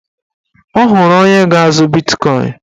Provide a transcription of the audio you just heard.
Ọ hụrụ onye ga-azụ bitkọin